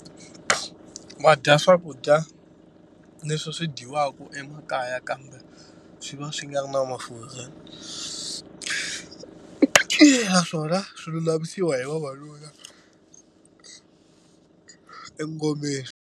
Va dya swakudya leswi swi dyiwaka emakaya kambe swi va swi nga ri na mafurha naswona swi lulamisiwa hi vavanuna engomeni.